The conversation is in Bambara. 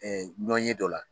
ɲɔn ye dɔ la.